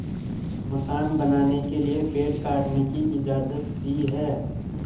मकान बनाने के लिए पेड़ काटने की इजाज़त दी है